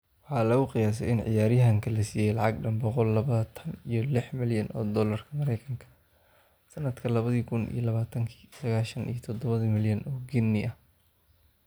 Waxaa lagu qiyaasay in ciyaaryahanka la siiyay lacag dhan boqol labatan iyo lix milyan oo dollarka mareykanka ah sanadka labadi kuun iyo labatanki(sagashan iyo todoba milyan oo ginii ah).